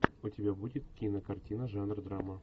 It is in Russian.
у тебя будет кинокартина жанра драма